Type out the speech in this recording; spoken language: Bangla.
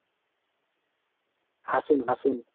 হাসুন হাসুন